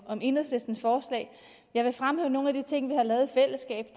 om enhedslistens forslag jeg vil fremhæve nogle af de ting vi har lavet